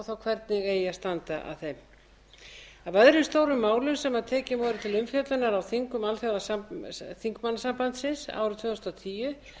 þá hvernig eigi að standa að þeim af öðrum stórum málum sem tekin voru til umfjöllunar á þingum alþjóðaþingmannasambandsins árið tvö þúsund og tíu